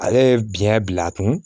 Ale ye biyɛn bil'a kun